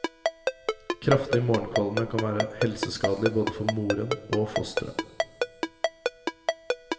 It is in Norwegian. Kraftig morgenkvalme kan være helseskadelig både for moren og fosteret.